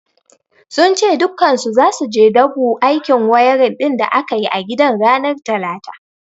Sun ce dukkansu zasu je su dabu aikin wayarin din da aka yi a gidan ranar talata.